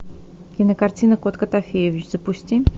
кинокартина кот котофеевич запусти